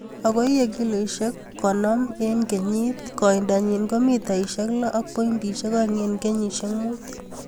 Ago iye kiloisiek konom tama en kenyit. Koindanyin ko mitaisiek loo ak pointisiek oeng' en kenyisiek mut.